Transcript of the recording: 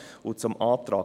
Zum Antrag